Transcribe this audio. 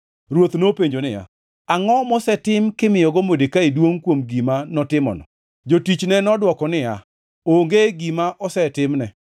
Ruoth nopenjo niya, “Angʼo mosetim kimiyogo Modekai duongʼ kuom gima notimono?” Jotichne nodwoko niya, “Onge gima osetimne.”